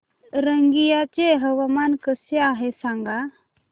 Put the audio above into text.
रंगिया चे हवामान कसे आहे सांगा